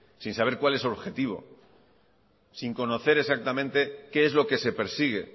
sin saber cuál es el objetivo sin conocer exactamente qué es lo que se persigue e